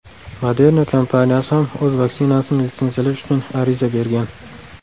Moderna kompaniyasi ham o‘z vaksinasini litsenziyalash uchun ariza bergan.